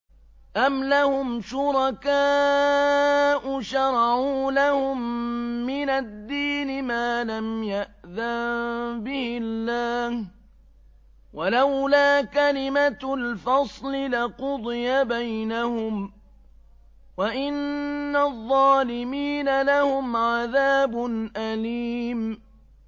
أَمْ لَهُمْ شُرَكَاءُ شَرَعُوا لَهُم مِّنَ الدِّينِ مَا لَمْ يَأْذَن بِهِ اللَّهُ ۚ وَلَوْلَا كَلِمَةُ الْفَصْلِ لَقُضِيَ بَيْنَهُمْ ۗ وَإِنَّ الظَّالِمِينَ لَهُمْ عَذَابٌ أَلِيمٌ